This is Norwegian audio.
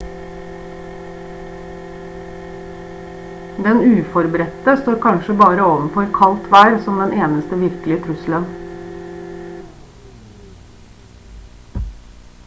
den uforberedte står kanskje bare overfor kaldt vær som den eneste virkelige trusselen